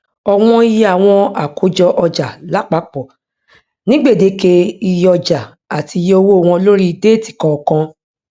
ọwọn iye àwọn àkójọọjà lápapọ ní gbèdéke iye ọjà àti iye owó wọn lórí déètì kọọkan